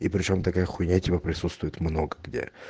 и причём такая хуйня типа присутствует много где